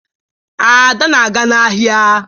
Ada na-aga n'ahịa.